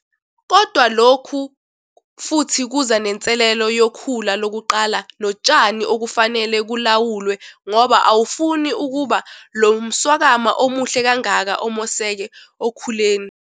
Kodwa lokhu futhi kuza nenselelo yokhula lokuqala notshani okufanelwe kulawulwe ngoba awufuni ukuba lo mswakama omuhle kangaka omoseke okhuleni.